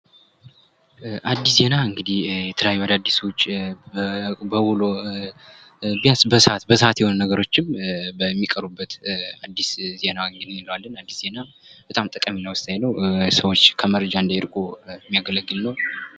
አዲስ ዜና እንግዲህ የተለያዩ አዳዲሶች በውሎ ቢያንስ በሰዓት በሰዓት የሚሆኑ ነገሮችን በሚቀሩበት በአዲስ ዜና እንግዲህ እንለዋለን አዲስ ዜና በጣም ጠቃሚ እና ወሳኝ ነው። ሰዎች ከደረጃ እንዳይርቁ የሚያገለግል ነው።